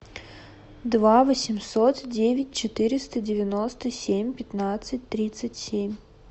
два восемьсот девять четыреста девяносто семь пятнадцать тридцать семь